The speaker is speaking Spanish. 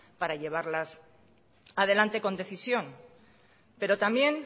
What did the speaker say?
para llevarlas adelante con decisión pero también